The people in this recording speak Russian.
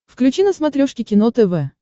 включи на смотрешке кино тв